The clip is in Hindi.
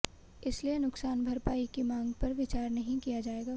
इसलिए नुकसान भरपाई की मांग पर विचार नहीं किया जाएगा